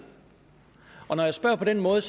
når jeg spørger på den måde